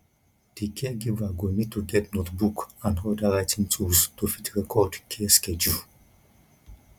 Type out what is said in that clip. di caregiver go need to get notebook and oda writing tools to fit record care schedule